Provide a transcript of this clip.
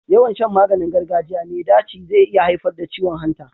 Yawan Shan maganin gargajiya me daci ze iya haifar da ciwon hanta